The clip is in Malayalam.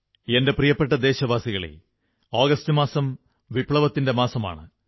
എന്റെ പ്രിയപ്പെട്ട ദേശവാസികളേ ആഗസ്റ്റ് മാസം വിപ്ലവത്തിന്റെ മാസമാണ്